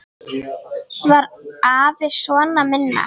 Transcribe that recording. Var afi sona minna.